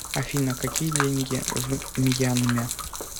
афина какие деньги в мьянме